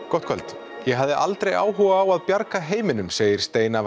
gott kvöld ég hafði aldrei áhuga á að bjarga heiminum segir steina